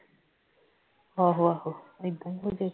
ਆਹੋ ਆਹੋ ਏਦਾਂ ਈ ਹੋਗੀ